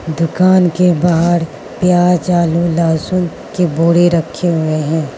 दुकान के बाहर प्याज आलू लहसुन के बोरे रखें हुए हैं।